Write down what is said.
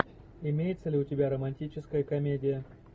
имеется ли у тебя романтическая комедия